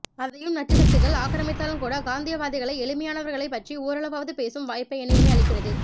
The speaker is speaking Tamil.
அதையும் நச்சு சக்திகள் ஆக்ரமித்தாலுமகூட காந்தியவாதிகளை எளிமையானவர்களை பற்றி ஓரளவாவது பேசும் வாய்ப்பை இணையமே அளிக்கிறது